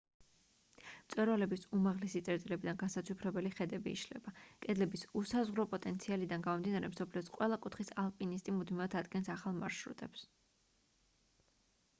მწვერვალების უმაღლესი წერტილებიდან განსაცვიფრებელი ხედები იშლება კედლების უსაზღვრო პოტენციალიდან გამომდინარე მსოფლიოს ყველა კუთხის ალპინისტი მუდმივად ადგენს ახალ მარშრუტებს